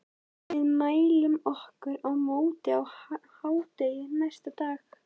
Við mæltum okkur mót á hádegi næsta dag.